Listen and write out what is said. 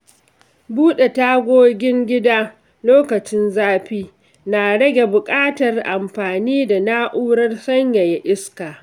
Buɗe tagogin gida lokacin zafi na rage buƙatar amfani da na’urar sanyaya iska.